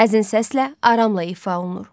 Həzin səslə aramla ifadə olunur.